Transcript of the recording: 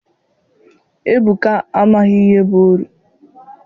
Ebuka amaghị ihe bụ oru.